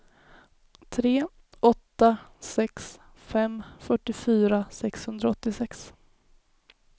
tre åtta sex fem fyrtiofyra sexhundraåttiosex